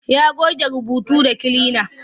Ya goge rubutu da kilina.